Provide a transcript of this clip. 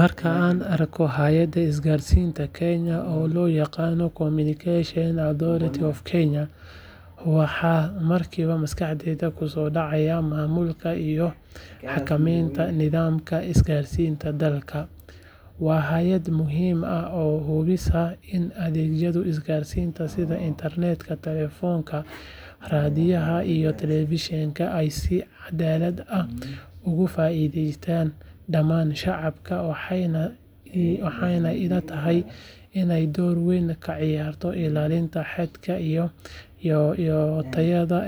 Markaan arko hay’adda isgaarsiinta Kenya ee loo yaqaan Communication Authority of Kenya waxa markiiba maskaxdayda ku soo dhacaya maamulka iyo xakamaynta nidaamka isgaarsiinta dalka waa hay’ad muhiim ah oo hubisa in adeegyada isgaarsiinta sida internetka, taleefannada, raadiyaha iyo telefishanka ay si cadaalad ah ugu faa’iideeyaan dhammaan shacabka waxay ila tahay inay door weyn ka ciyaarto ilaalinta xadka iyo tayada